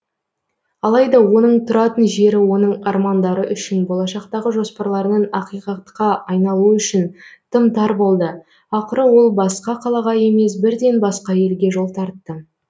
алайда оның тұратын жері оның армандары үшін болашақтағы жоспарларының ақиқатқа айналуы үшін тым тар болды ақыры ол басқа қалаға емес бірден басқа елге жол тартты